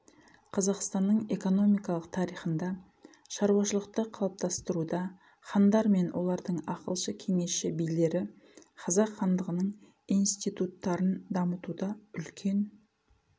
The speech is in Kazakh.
қазақстанның экономикалық тарихында шаруашылықты қалыптастыруда хандар мен олардың ақылшы кеңесші билері қазақ хандығының институтарын дамытуда үлкен